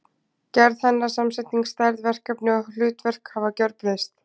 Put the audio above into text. Gerð hennar, samsetning, stærð, verkefni og hlutverk hafa gjörbreyst.